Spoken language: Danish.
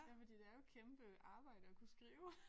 Men de laver et kæmpe arbejde at kunne skrive